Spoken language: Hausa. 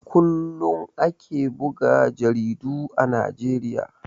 Kullum ake buga jaridu a Najeriya.